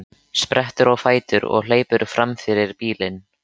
Sprettur á fætur og hleypur fram fyrir bílinn.